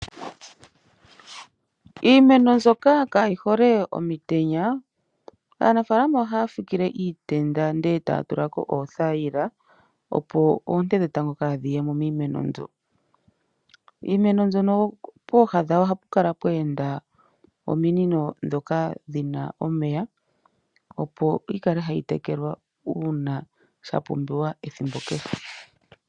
Iimeno mbyoka kayi hole omutenya Aanafaalama ohaya fikile iitenda ndele taya tulako oothayila opo oonte dhetango kadhiye miimeno mbyoka. Iimeno mbyono pooha dhayo ohapu kala pwe enda ominino ndhoka dhina omeya opo yikale tayi tekelwa uuna sha pumbiwa ethimbo kehe.